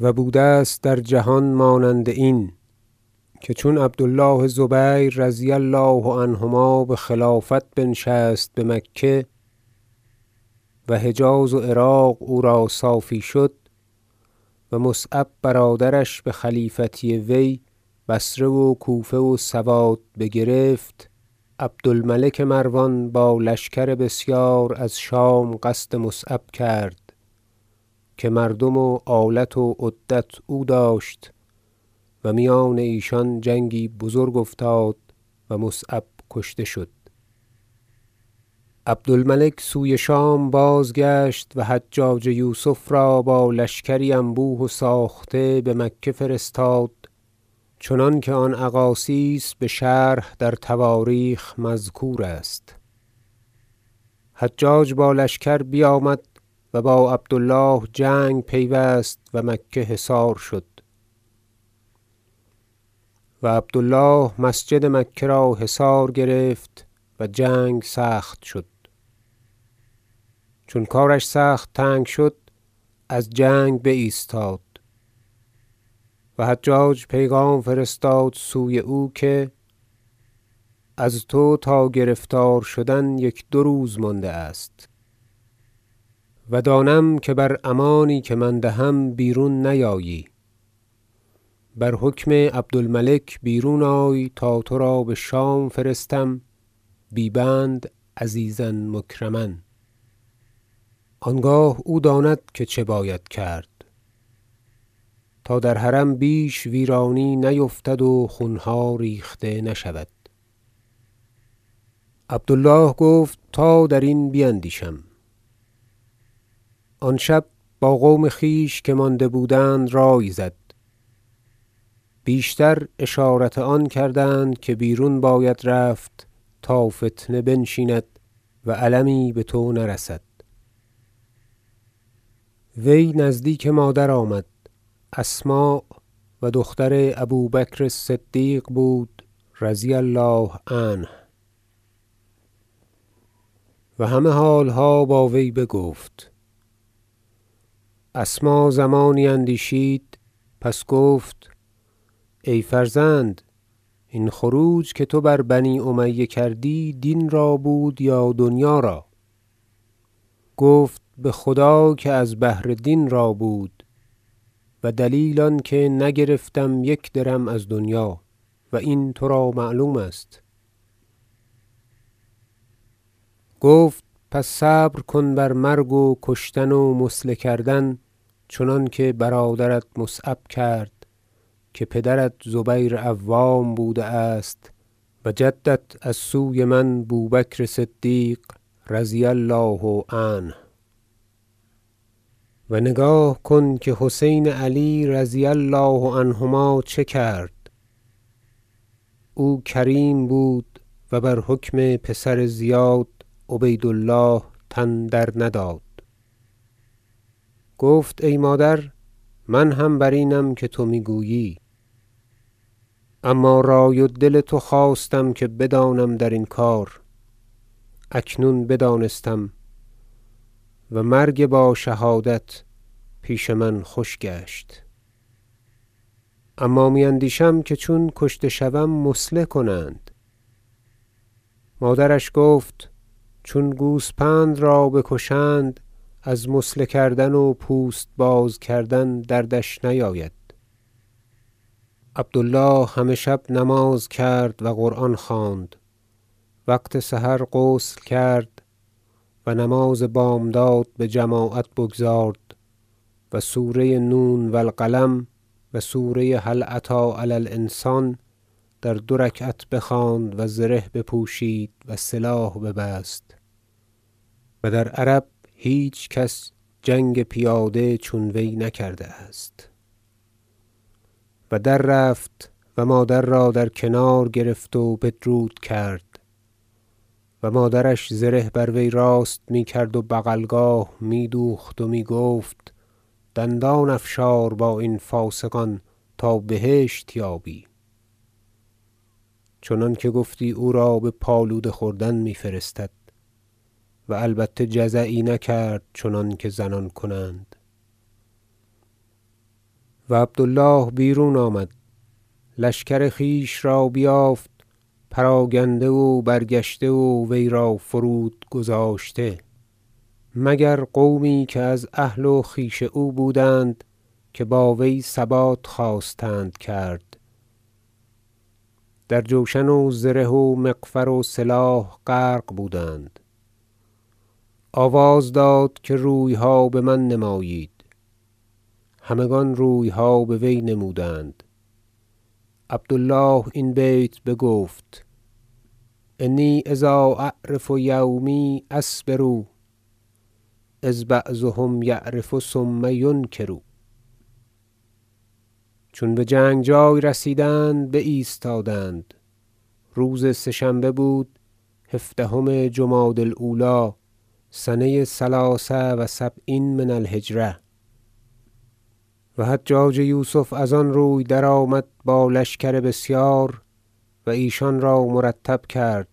و بوده است در جهان مانند این که چون عبد الله زبیر رضی الله عنهما بخلافت بنشست بمکه و حجاز و عراق او را صافی شد و مصعب برادرش بخلیفتی وی بصره و کوفه و سواد بگرفت عبد الملک مروان با لشکر بسیار از شام قصد مصعب کرد که مردم و آلت و عدت او داشت و میان ایشان جنگی بزرگ افتاد و مصعب کشته شد عبد الملک سوی شام بازگشت و حجاج یوسف را با لشکری انبوه و ساخته بمکه فرستاد چنانکه آن اقاصیص بشرح در تواریخ مذکور است حجاج با لشکر بیامد و با عبد الله جنگ پیوست و مکه حصار شد و عبد الله مسجد مکه را حصار گرفت و جنگ سخت شد و منجنیق سوی خانه روان شد و سنگ می انداختند تا یک رکن را فرود آوردند و عبد الله چون کارش سخت تنگ شد از جنگ بایستاد و حجاج پیغام فرستاد سوی او که از تو تا گرفتار شدن یک دو روز مانده است و دانم که بر امانی که من دهم بیرون نیایی بر حکم عبد الملک بیرون آی تا ترا بشام فرستم بی بند عزیزا مکرما آنگاه او داند که چه باید کرد تا در حرم بیش ویرانی نیفتد و خونها ریخته نشود عبد الله گفت تا درین بیندیشم آن شب با قوم خویش که مانده بودند رأی زد بیشتر اشارت آن کردند که بیرون باید رفت تا فتنه بنشیند و المی بتو نرسد وی نزدیک مادر آمد اسماء - و دختر ابو بکر الصدیق بود رضی الله عنه- و همه حالها با وی بگفت اسماء زمانی اندیشید پس گفت ای فرزند این خروج که تو بر بنی امیه کردی دین را بود یا دنیا را گفت بخدای که از بهر دین را بود و دلیل آنکه نگرفتم یک درم از دنیا و این ترا معلوم است گفت پس صبر کن بر مرگ و کشتن و مثله کردن چنانکه برادرت مصعب کرد که پدرت زبیر عوام بوده است و جدت از سوی من بو بکر صدیق رضی الله عنه و نگاه کن که حسین علی رضی الله عنهما چه کرد او کریم بود و بر حکم پسر زیاد عبید الله تن درنداد گفت ای مادر من هم بر اینم که تو میگویی اما رأی و دل تو خواستم که بدانم درین کار اکنون بدانستم و مرگ با شهادت پیش من خوش گشت اما می اندیشم که چون کشته شوم مثله کنند مادرش گفت چون گوسپند را بکشند از مثله کردن و پوست باز کردن دردش نیاید عبد الله همه شب نماز کرد و قران خواند وقت سحر غسل کرد و نماز بامداد بجماعت بگزارد و سوره نون و القلم و سوره هل اتی علی الانسان در دو رکعت بخواند و زره بپوشید و سلاح ببست- و در عرب هیچ کس جنگ پیاده چون وی نکرده است- و در رفت و مادر را در کنار گرفت و بدرود کرد و مادرش زره بر وی راست میکرد و بغلگاه می دوخت و می گفت دندان افشار با این فاسقان تا بهشت یابی چنانکه گفتی او را بپالوده خوردن می فرستد و البته جزعی نکرد چنانکه زنان کنند و عبد الله بیرون آمد لشکر خویش را بیافت پراگنده و برگشته و وی را فرود گذاشته مگر قومی که از اهل و خویش او بودند که با وی ثبات خواستند کرد در جوشن و زره و مغفر و سلاح غرق بودند آواز داد که رویها بمن نمایید همگان رویها بوی نمودند عبد الله این بیت بگفت شعر انی اذا اعرف یومی اصبر اذ بعضهم یعرف ثم ینکر چون بجنگ جای رسیدند بایستادند- روز سه شنبه بود هفدهم جمادی الاولی سنه ثلث و سبعین من الهجرة - و حجاج یوسف از آن روی درآمد با لشکر بسیار و ایشان را مرتب کرد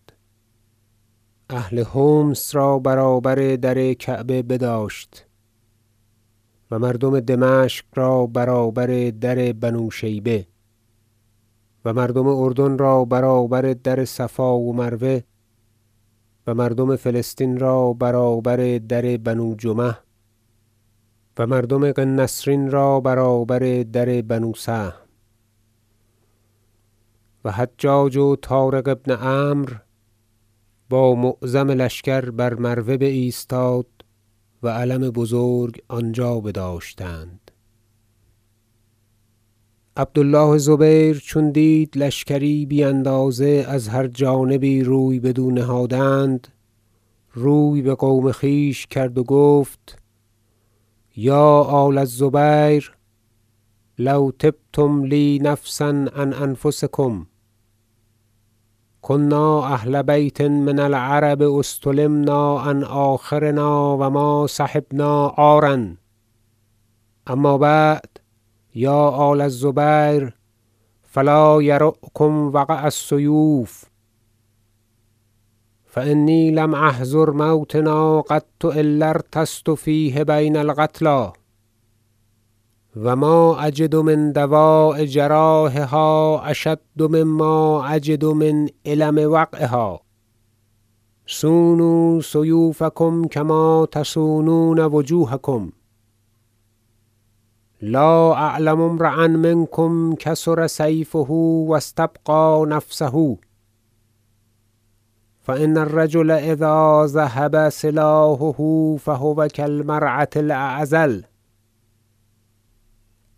اهل حمص را برابر در کعبه بداشت و مردم دمشق را برابر در بنوشیبه و مردم اردن را برابر در صفا و مروه و مردم فلسطین را برابر در بنوجمح و مردم قنسرین را برابر در بنوسهم و حجاج و طارق بن عمرو با معظم لشکر بر مروه بایستاد و علم بزرگ آنجا بداشتند عبد الله زبیر چون دید لشکری بی اندازه از هر جانبی روی بدو نهادند روی بقوم خویش کرد و گفت یا آل الزبیر لو طبتم لی نفسا عن انفسکم کنا اهل بیت من العرب اصطلمنا فی الله عن آخرنا و ما صحبنا عارا اما بعد یا آل الزبیر فلا یرعکم وقع السیوف فانی لم احضر موطنا قط الا ارتثثت فیه بین القتلی و ما اجد من دواء جراحها اشد مما اجد من الم وقعها صونوا سیوفکم کما تصونون وجوهکم لا اعلم امرءا منکم کسر سیفه و استبقی نفسه فان الرجل اذا ذهب سلاحه فهو کالمرأة اعزل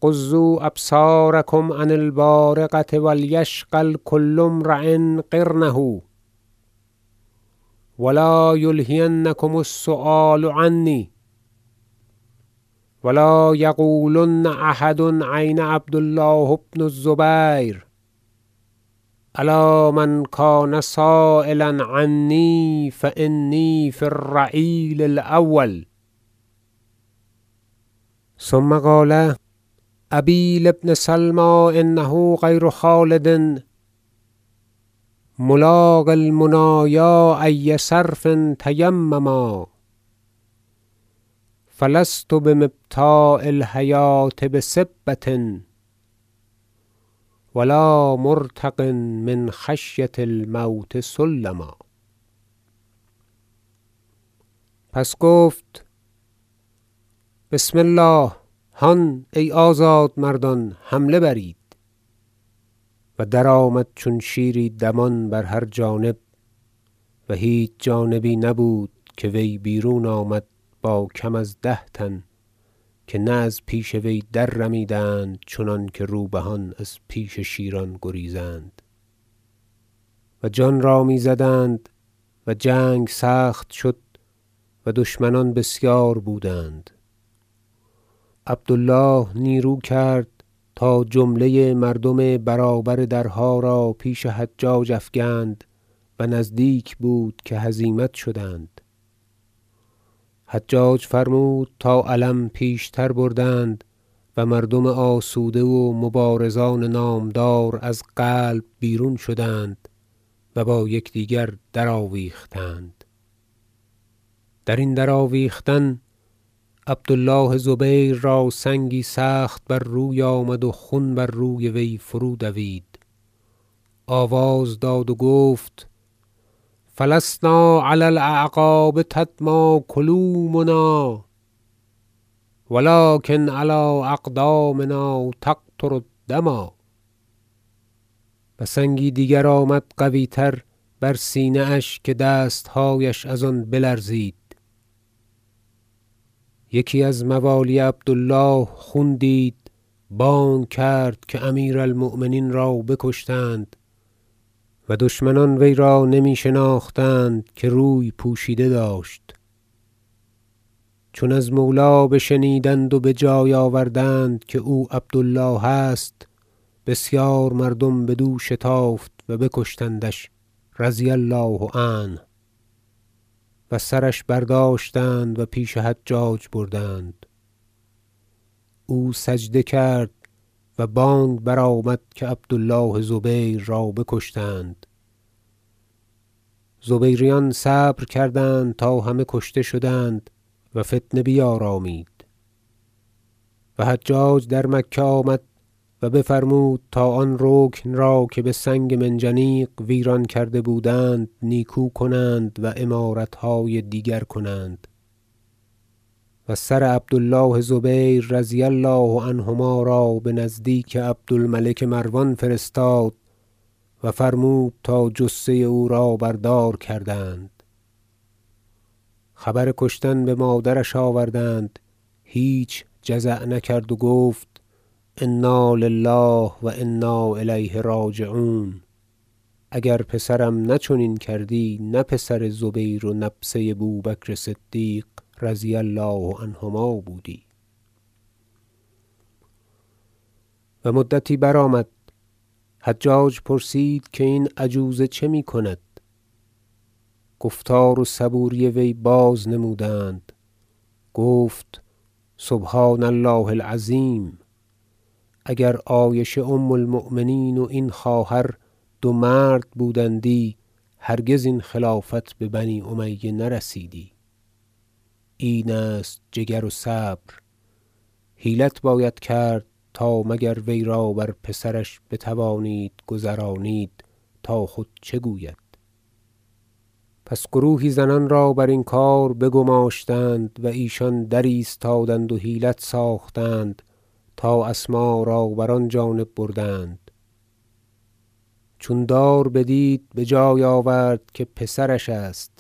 غضوا ابصارکم عن البارقة و لیشغل کل امری قرنه و لا یلهینکم السؤال عنی و لا یقولن احد این عبد الله بن الزبیر الا من کان سایلا عنی فانی فی الرعیل الاول ثم قال شعر ابی لابن سلمی انه غیر خالد ملاقی المنایا ای صرف تیمما فلست بمبتاع الحیوة بسبة و لا مرتق من خشیة الموت سلما پس گفت بسم الله هان ای آزادمردان حمله برید و درآمد چون شیری دمان بر هر جانب و هیچ جانبی نبود که وی بیرون آمد با کم از ده تن که نه از پیش وی دررمیدند چنانکه روبهان از پیش شیران گریزند و جان را میزدند و جنگ سخت شد و دشمنان بسیار بودند عبد الله نیرو کرد تا جمله مردم برابر درها را پیش حجاج افکند و نزدیک بود که هزیمت شدند حجاج فرمود تا علم پیشتر بردند و مردم آسوده و مبارزان نامدار از قلب بیرون شدند و با یکدیگر درآویختند درین آویختن عبد الله زبیر را سنگی سخت بر روی آمد و خون بر روی فرودوید آواز داد و گفت فلسنا علی الاعقاب تدمی کلومنا و لکن علی اقدامنا تقطر الدما و سنگی دیگر آمد قویتر بر سینه اش که دستهایش از آن بلرزید یکی از موالی عبد الله خون دید بانگ کرد که امیر المؤمنین را بکشتند و دشمنان وی را نمی شناختند که روی پوشیده داشت چون از مولی بشنیدند و بجای آوردند که او عبد الله است بسیار مردم بدو شتافت و بکشتندش رضی الله عنه و سرش بر داشتند و پیش حجاج بردند او سجده کرد و بانگ برآمد که عبد الله زبیر را بکشتند زبیریان صبر کردند تا همه کشته شدند و فتنه بیارامید و حجاج در مکه آمد و بفرمود تا آن رکن را که بسنگ منجنیق ویران کرده بودند نیکو کنند و عمارتهای دیگر کنند و سر عبد الله زبیر رضی الله عنهما را بنزدیک عبد الملک مروان فرستاد و فرمود تا جثه او را بر دار کردند خبر کشتن بمادرش آوردند هیچ جزعی نکرد و گفت انا لله و انا الیه راجعون اگر پسرم نه چنین کردی نه پسر زبیر و نبسه بو بکر صدیق رضی الله عنهما بودی و مدتی برآمد حجاج پرسید که این عجوزه چه میکند گفتار و صبوری وی بازنمودند گفت سبحان الله العظیم اگر عایشه ام المؤمنین و این خواهر دو مرد بودندی هرگز این خلافت به بنی امیه نرسیدی این است جگر و صبر حیلت باید کرد تا مگر وی را بر پسرش بتوانید گذرانید تا خود چه گوید پس گروهی زنان را برین کار بگماشتند و ایشان درایستادند و حیلت ساختند تا اسماء را بر آن جانب بردند چون دار بدید بجای آورد که پسرش است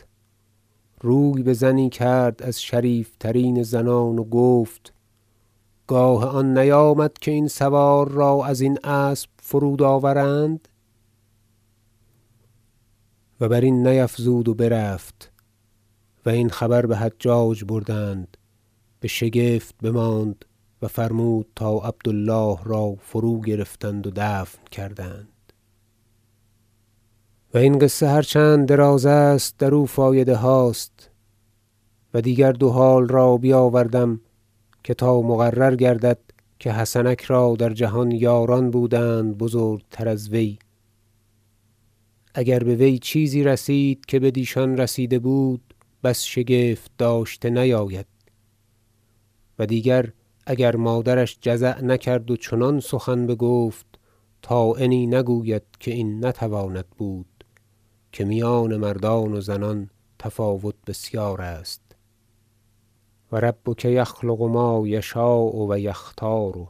روی بزنی کرد از شریف ترین زنان و گفت گاه آن نیامد که این سوار را ازین اسب فرود آورند و برین نیفزود و برفت و این خبر بحجاج بردند بشگفت بماند و فرمود تا عبد الله را فروگرفتند و دفن کردند و این قصه هرچند دراز است درو فایده هاست و دیگر دو حال را بیاوردم که تا مقرر گردد که حسنک را در جهان یاران بودند بزرگتر از وی اگر بوی چیزی رسید که بدیشان رسیده بود بس شگفت داشته نیاید و دیگر اگر مادرش جزع نکرد و چنان سخن بگفت طاعنی نگوید که این نتواند بود که میان مردان و زنان تفاوت بسیار است و ربک یخلق ما یشاء و یختار